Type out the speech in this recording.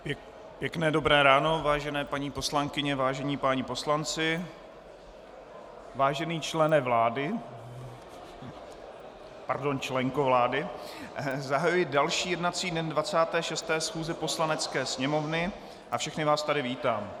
Pěkné dobré ráno, vážené paní poslankyně, vážení páni poslanci, vážený člene vlády, pardon, členko vlády, zahajuji další jednací den 26. schůze Poslanecké sněmovny a všechny vás tady vítám.